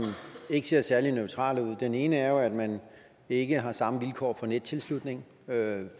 ikke ser særlig neutrale ud den ene er at man ikke har samme vilkår for nettilslutning